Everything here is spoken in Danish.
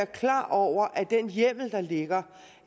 klar over at den hjemmel der ligger